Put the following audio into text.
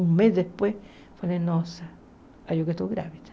Um mês depois, falei, nossa, acho que eu estou grávida.